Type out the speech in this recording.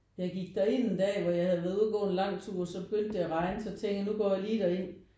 Jeg gik derind en dag hvor jeg havde været ude og gå en lang tur så begyndte det at regne så tænkte jeg nu går jeg lige derind